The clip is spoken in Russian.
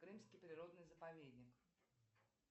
крымский природный заповедник